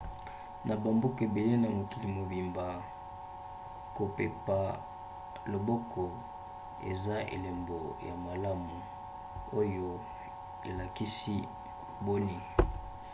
na bamboka ebele na mokili mobimba kopepa loboko eza elombo ya malamu oyo elakisi boni.